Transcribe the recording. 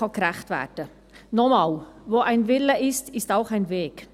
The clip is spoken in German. Noch einmal: Wo ein Wille ist, ist auch ein Weg.